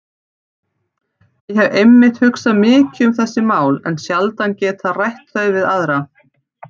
Ég hef einmitt hugsað mikið um þessi mál en sjaldan getað rætt þau við aðra.